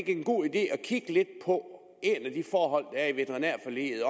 en god idé at kigge lidt på et af de forhold der er i veterinærforliget